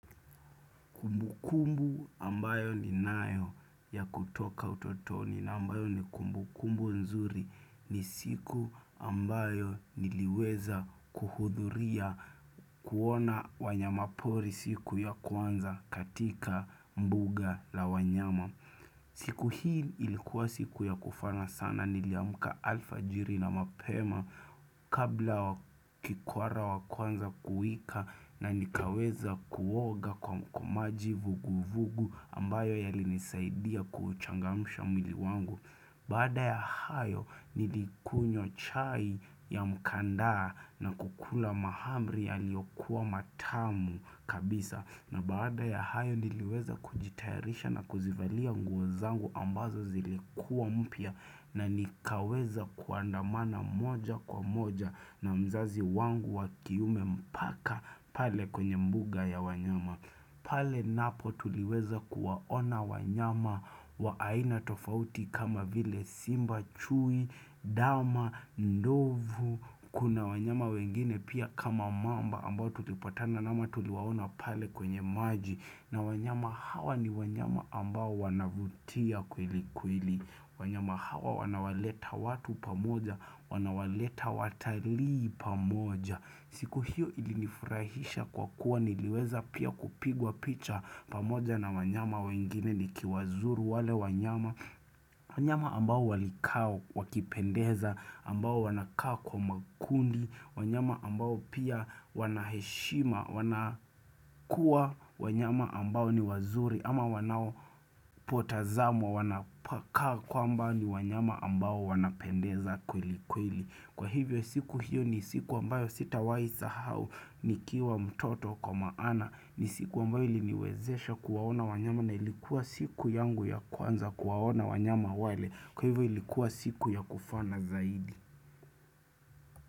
Ukumbu ambayo ninayo ya kutoka utotoni na ambayo ni kumbukumbu nzuri ni siku ambayo niliweza kuhudhuria kuona wanyamapori siku ya kwanza katika mbuga la wanyama. Siku hii ilikuwa siku ya kufana sana niliamka alfajiri na mapema kabla kikwara wa kuanza kuwika na nikaweza kuoga kwa maji vugu vugu ambayo yalinisaidia kuuchangamsha mwili wangu. Baada ya hayo nilikunywa chai ya mkandaa na kukula mahamri yaliyokuwa matamu kabisa na baada ya hayo niliweza kujitayarisha na kuzivalia nguo zangu ambazo zilikuwa mpya na nikaweza kuandamana moja kwa moja na mzazi wangu wa kiume mpaka pale kwenye mbuga ya wanyama. Pale napo tuliweza kuwaona wanyama wa aina tofauti kama vile simba, chui, dama, ndovu. Kuna wanyama wengine pia kama mamba ambao tutipatana ama tuliwaona pale kwenye maji. Na wanyama hawa ni wanyama ambao wanavutia kweli kweli. Wanyama hawa wanawaleta watu pamoja, wanawaleta watalii pamoja. Siku hiyo ilinifurahisha kwa kuwa niliweza pia kupigwa picha pamoja na wanyama wengine nikiwazuru wale wanyama, wanyama ambao walikaa wakipendeza, ambao wanakaa kwa makundi, wanyama ambao pia wana heshima, wanakuwa wanyama ambao ni wazuri ama wanao potazama wanapokaa kwa ambao ni wanyama ambao wanapendeza kweli kweli. Kwa hivyo siku hiyo ni siku ambayo sitawahisahau nikiwa mtoto kwa maana ni siku ambayo iliniwezesha kuwaona wanyama na ilikuwa siku yangu ya kwanza kuwaona wanyama wale kwa hivyo ilikuwa siku ya kufana zaidi.